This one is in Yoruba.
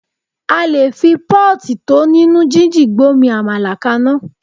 A lè fi pọ́ọ̀tì tó nínú jíjìn gbómi amala kaná.